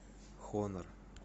хонор